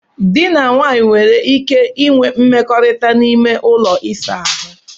Dị na nwaanyị nwere ike inwe mmekọrịta n'ime ụlọ ịsa ahụ.